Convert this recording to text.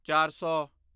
ਚਾਰ ਸੌ